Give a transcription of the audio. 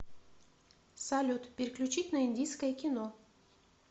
салют переключить на индийское кино